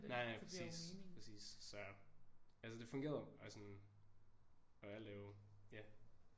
Nej nej præcis præcis så altså det fungerede og sådan og alt er jo ja